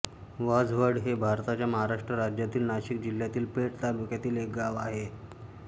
वाझवड हे भारताच्या महाराष्ट्र राज्यातील नाशिक जिल्ह्यातील पेठ तालुक्यातील एक गाव आहे